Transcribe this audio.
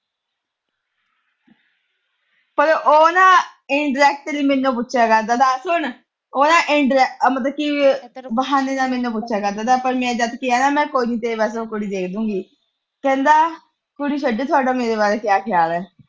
ਪਰ ਉਹ ਨਾ indirectly ਮੈਨੂੰ ਪੁੱਛਿਆ ਕਰਦਾ ਥਾ, ਸੁਣ ਉਹ ਨਾ ਇਨ ਅਹ ਮਤਲਬ ਬਹਾਨੇ ਨਾਲ ਮੈਨੂੰ ਪੁੱਛਿਆ ਕਰਦਾ ਥਾ, ਜਦੋਂ ਮੈਂ ਕਿਹਾ ਨਾ ਕੋਈ ਨੀ ਮੈਂ ਤੇਰੇ ਵਾਸਤੇ ਕੁੜੀ ਦੇਖ ਦੇਊਂਗੀ। ਕਹਿੰਦਾ ਕੁੜੀ ਛੱਡੋ, ਤੁਹਾਡਾ ਮੇਰੇ ਬਾਰੇ ਕਿਆ ਖਿਆਲ ਆ।